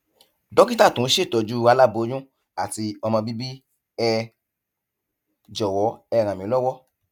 dókítà tó ń ṣètọjú aláboyún àti ọmọ bíbí ẹ jọwọ ẹ ràn mí lọwọ